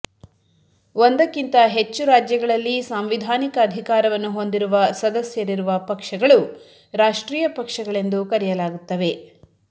ಒಂದಕ್ಕಿಂತ ಹೆಚ್ಚು ರಾಜ್ಯಗಳಲ್ಲಿ ಸಾಂವಿಧಾನಿಕ ಅಧಿಕಾರವನ್ನು ಹೊಂದಿರುವ ಸದಸ್ಯರಿರುವ ಪಕ್ಷಗಳು ರಾಷ್ಟ್ರೀಯ ಪಕ್ಷಗಳೆಂದು ಕರೆಯಲಾಗುತ್ತವೆ